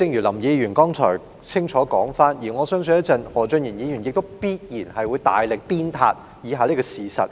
林議員剛才作了清楚說明，而我相信稍後何俊賢議員必然會大力鞭撻以下這個事實。